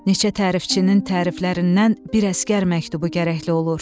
Neçə tərifçinin təriflərindən bir əsgər məktubu gərəkli olur.